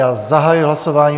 Já zahajuji hlasování.